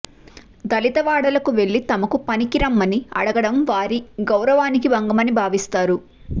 దళితవాడలకు వెళ్లి తమకు పనికిరమ్మని అడగడం వారి గౌరవానికి భంగమని భావిస్తారు